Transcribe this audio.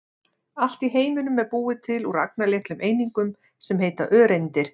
Allt í heiminum er búið til úr agnarlitlum einingum sem heita öreindir.